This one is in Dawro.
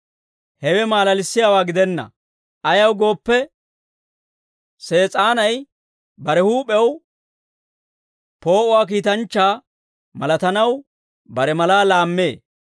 Hewe maalalissiyaawaa gidenna; ayaw gooppe, Sees'aanay bare huup'ew poo'uwaa kiitanchchaa malatanaw bare malaa laammee.